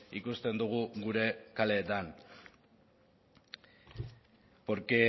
ikusten dugu gure kaleetan porque